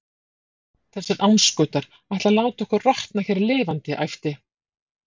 Þessir andskotar ætla að láta okkur rotna hér lifandi æpti